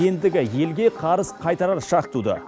ендігі елге қарыз қайтарар шақ туды